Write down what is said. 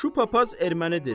Şu papaz ermənidir.